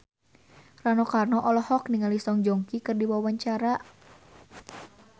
Rano Karno olohok ningali Song Joong Ki keur diwawancara